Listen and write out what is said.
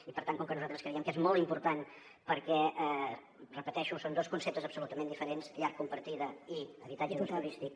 i per tant com que nosaltres creiem que és molt important perquè ho repeteixo són dos conceptes absolutament diferents llar compartida i habitatge d’ús turístic